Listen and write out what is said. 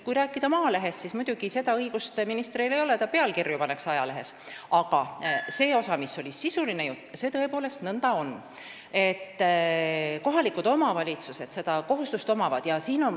Kui rääkida Maalehe artiklist, siis ministril muidugi seda õigust ei ole, et ta ajalehte pealkirju paneks, aga mis puudutab sisulist juttu, siis on tõepoolest nõnda, et kohalikel omavalitsustel on see kohustus.